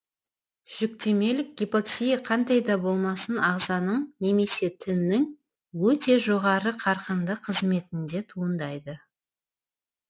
жүктемелік гипоксия қандай да болмасын ағзаның немесе тіннің өте жоғары қарқынды қызметінде туындайды